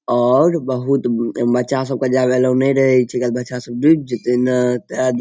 और बहुत बच्चा सब के जाव एलो ने रहे छै किया कि बच्चा सब डूब जेते ने ता --